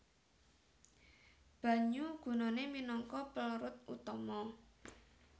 Banyu gunane minangka pelrut utama